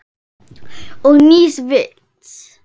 Og nýs vits.